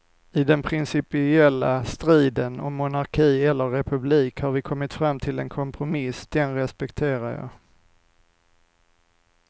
I den principiella striden om monarki eller republik har vi kommit fram till en kompromiss, den respekterar jag.